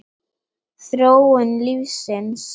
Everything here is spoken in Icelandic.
Þróun lífsins